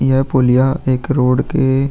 यह पुल यहाँ एक रोड के --